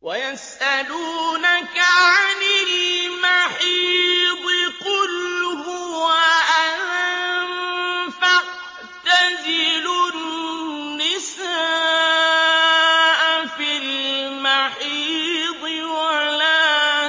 وَيَسْأَلُونَكَ عَنِ الْمَحِيضِ ۖ قُلْ هُوَ أَذًى فَاعْتَزِلُوا النِّسَاءَ فِي الْمَحِيضِ ۖ وَلَا